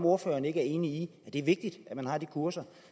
ordføreren ikke enig i at det er vigtigt at man har de kurser